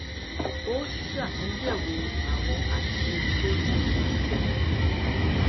ó ṣàtúnyèwò àwọn àṣìṣe tó ti ṣe séyìn